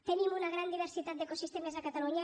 tenim una gran diversitat d’ecosistemes a catalunya